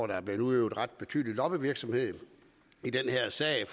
der har været udøvet ret betydelig lobbyvirksomhed i den her sag